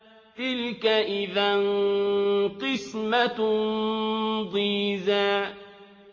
تِلْكَ إِذًا قِسْمَةٌ ضِيزَىٰ